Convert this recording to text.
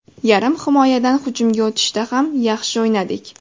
Yarim himoyadan hujumga o‘tishda ham yaxshi o‘ynadik.